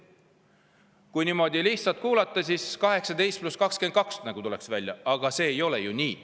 Kui niimoodi lihtsalt kuulata, siis nagu tuleks välja 18 + 22, aga see ei ole ju nii.